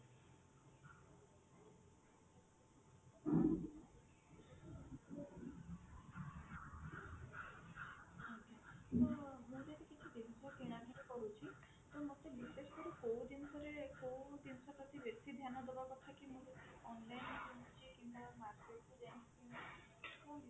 ତ ଯଦି ମୁଁ କିଛି ଜିନିଷ କିଣା କିଣି କରୁଛି ତ ମତେ ବିଶେଷ କରି କୋଉ ଜିନିଷ ରେ କୋଉ ଜିନିଷ ପ୍ରତି ବେଶୀ ଧ୍ୟାନ ଦେବା କଥା କି ମୋର